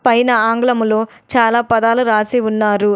పైన ఆంగ్లములో చాలా పదాలు రాసి ఉన్నారు.